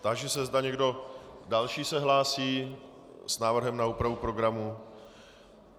Táži se, zda někdo další se hlásí s návrhem na úpravu programu.